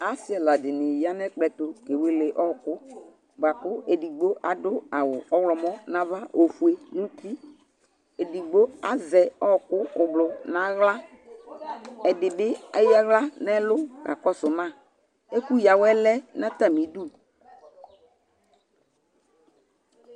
Asɩ ɛla dɩnɩ ya nʋ ɛkplɔ ɛtʋ kewele ɔɣɔkʋ bʋa kʋ edigbo adʋ awʋ ɔɣlɔmɔ nʋ ava, ofue nʋ uti Edigbo azɛ ɔɣɔkʋ oblo nʋ aɣla Ɛdɩ bɩ eyǝ aɣla nʋ ɛlʋ kakɔsʋ ma Ɛkʋyǝ awɛ lɛ nʋ atamɩdu